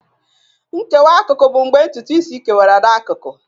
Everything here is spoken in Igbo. Nkewa akụkụ bụ mgbe ntutu isi kewara n'akụkụ.